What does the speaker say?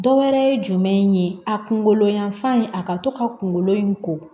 Dɔ wɛrɛ ye jumɛn in ye a kunkolo yanfan in a ka to ka kunkolo in ko